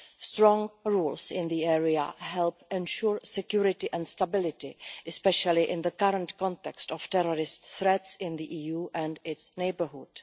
Strong rules in the area help ensure security and stability, especially in the current context of terrorist threats in the EU and its neighbourhood.